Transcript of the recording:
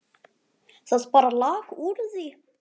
Það bara lak úr því.